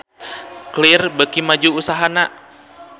Clear beuki maju usahana